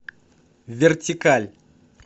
вертикаль